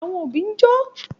Àwọn òbí ń jó